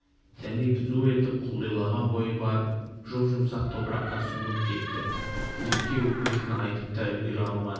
дәнек зу етіп құлдилаған бойы барып жұп-жұмсақ топыраққа сүңгіп кетті терекке өкпесін айтып та үлгере алмады